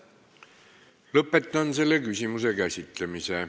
Lõpetan selle küsimuse käsitlemise.